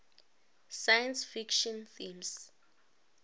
science fiction themes